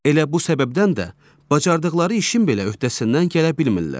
Elə bu səbəbdən də bacardıqları işin belə öhdəsindən gələ bilmirlər.